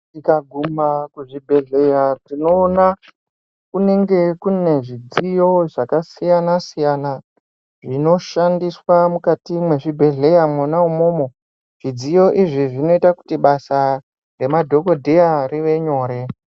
Tikaguma kuzvibhedheya, tinowona kunenge kunezvidziyo zvakasiyana siyana, zvinoshandiswa mukati mezvibhedhleya mukati mona imomo. Zvidziyo izvi zvinoita kuti basa remadhokodheya rive nyore.